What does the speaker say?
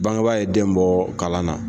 Bangebaa ye den bɔ kalan na!